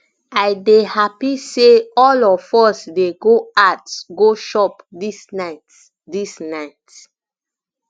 i dey happy say all of us dey go out go chop dis night dis night